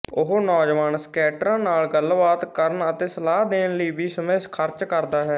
ਉਹ ਨੌਜਵਾਨ ਸਕੇਟਰਾਂ ਨਾਲ ਗੱਲਬਾਤ ਕਰਨ ਅਤੇ ਸਲਾਹ ਦੇਣ ਲਈ ਵੀ ਸਮੇਂ ਖਰਚ ਕਰਦਾ ਹੈ